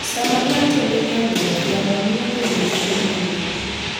Sama ng'ato ni e wuoth, yamo miyo dende bedo mang'ich.